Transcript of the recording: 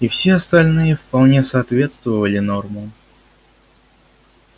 и все остальные вполне соответствовали нормам